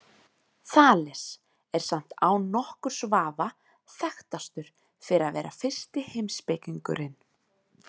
Þales er samt án nokkurs vafa þekktastur fyrir að vera fyrsti heimspekingurinn.